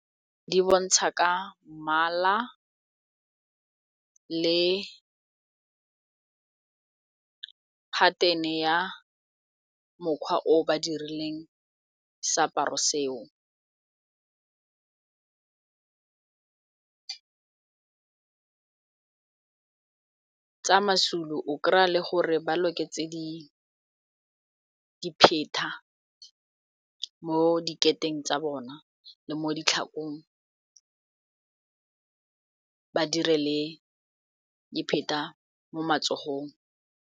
Di bontsha ka mmala le pattern-e ya mokgwa o ba dirileng seaparo seo tsa maZulu o kry-a le gore ba loketseng dipheta ka mo dikheteng tsa bona le mo ditlhakong ba kenye le dipheta mo matsogong.